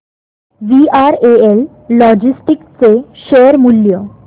VRL logistics चे share मूल्य